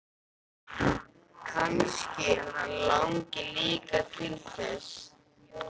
Kannski hann langi líka til þess!